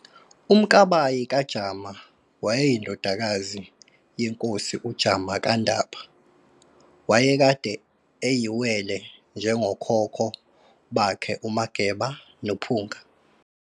uMkabayi kaJama waye yindodakazi yenkosi uJama kaNdaba, waye kade eyiwele njengokhokho bakhe uMageba noPhunga.